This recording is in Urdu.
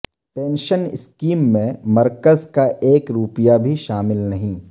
پنشن اسکیم میں مرکز کا ایک روپیہ بھی شامل نہیں